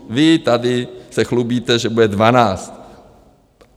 Vy se tady chlubíte, že bude dvanáct.